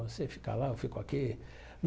Você fica lá, eu fico aqui.